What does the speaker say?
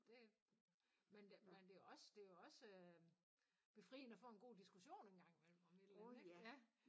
Det men det men det også det jo også befriende at få en god diskussion en gang imellem om et eller andet